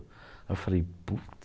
Eu falei, putz...